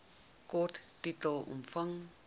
kort titel omvang